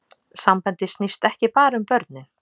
Sambandið snýst ekki bara um börnin